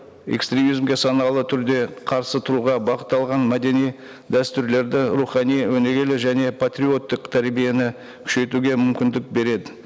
экстремизмге саналы түрде қарсы тұруға бағытталған мәдени дәстүрлерді рухани өнегелі және партиоттық тәрбиені күшейтуге мүмкіндік береді